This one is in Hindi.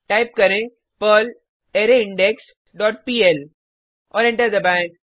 टाइप करें पर्ल अरायिंडेक्स डॉट पीएल और एंटर दबाएँ